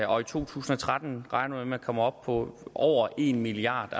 og i to tusind og tretten regner at man kommer op på over en milliard